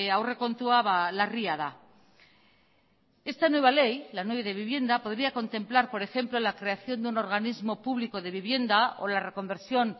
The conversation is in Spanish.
aurrekontua larria da esta nueva ley la nueva ley de vivienda podría contemplar por ejemplo la creación de un organismo público de vivienda o la reconversión